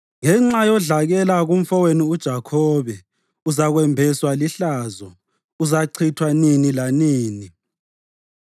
Ngenxa yodlakela kumfowenu uJakhobe, uzakwembeswa lihlazo; uzachithwa nini lanini.